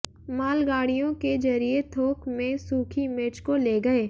मालगाड़ियों के जरिये थोक में सूखी मिर्च को ले गए